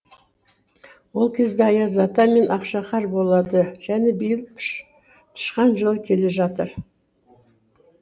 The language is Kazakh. ол кезде аяз ата мен ақшақар болады және биыл тышқан жылы келе жатыр